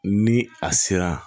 Ni a sera